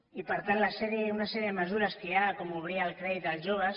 i per tant una sèrie de mesures que hi ha com obrir el crèdit als joves